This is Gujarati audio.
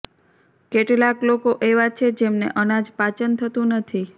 કેટલાક લોકો એવા છે જેમને અનાજ પાચન થતું નથી